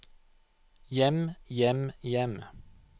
hjem hjem hjem